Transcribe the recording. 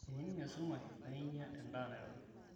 eninng esumash naainya edaa nairobi